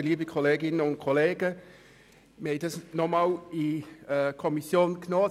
Wir haben diesen Artikel noch einmal in die Kommission genommen.